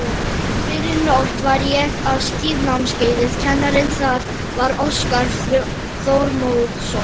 fyrrinótt var ég á skíðanámskeiði, kennari þar var Óskar Þormóðsson.